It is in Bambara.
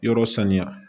Yɔrɔ saniya